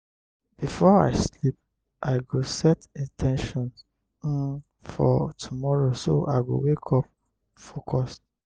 before i sleep i go set in ten tions um for tomorrow so i go wake up focused.